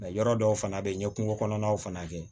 yɔrɔ dɔw fana bɛ yen n ye kungo kɔnɔnaw fana kɛ